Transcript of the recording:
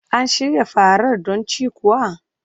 An shirya farar don cin kuwa?